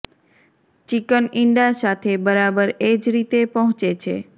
chicken ઇંડા સાથે બરાબર એ જ રીતે પહોંચે છે